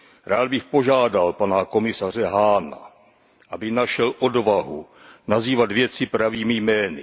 Rád bych požádal pana komisaře Hahna, aby našel odvahu nazývat věci pravými jmény.